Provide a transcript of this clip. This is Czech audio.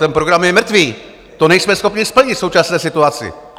Ten program je mrtvý, to nejsme schopni splnit v současné situaci.